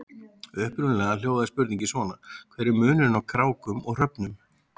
Upprunalega hljóðaði spurningin svona: Hver er munurinn á krákum og hröfnum?